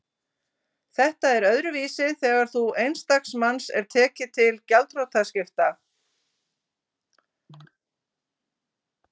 Þetta er öðruvísi þegar bú einstaks manns er tekið til gjaldþrotaskipta.